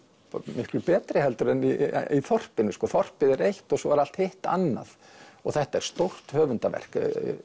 miklu betri en í þorpinu þorpið er eitt og svo er allt hitt annað og þetta er stórt höfundarverk